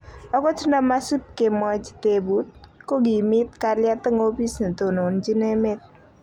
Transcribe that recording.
ogot nda magisipkemwachi tebuut ko gimit kalyeeet en opis netononjin emeet